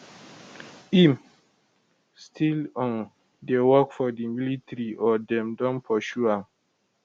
im still um dey work for di military or dem don pursue am